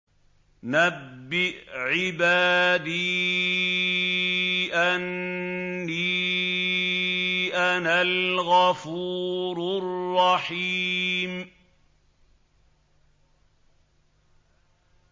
۞ نَبِّئْ عِبَادِي أَنِّي أَنَا الْغَفُورُ الرَّحِيمُ